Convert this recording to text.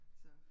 Så